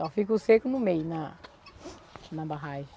Só fica o seco no meio, na na barragem.